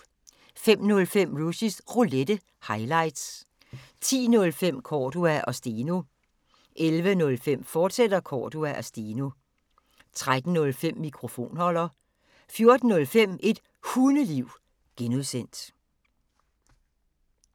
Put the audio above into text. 05:05: Rushys Roulette – highlights 10:05: Cordua & Steno 11:05: Cordua & Steno, fortsat 13:05: Mikrofonholder 14:05: Et Hundeliv (G)